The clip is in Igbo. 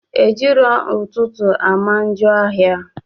Ejirọ ụtụtụ ama njọ ahị